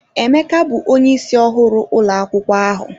Emeka bụ onye ịsị ọhụrụ ụlọ akwụkwọ ahu